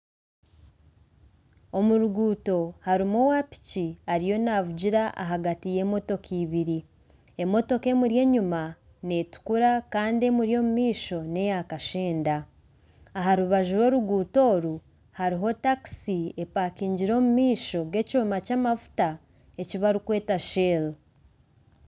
Omuruguuto harimu owa piki ariyo navugira ahagati y'emotoka ibiri, emotoka emuri enyuma n'etukura Kandi emuri omu maisho n'eya kashenda aha rubaju rw'oruguuto oru hariho taxi epakingire omumaisho g'ekyooma kyamajuta ekibarikweeta shell.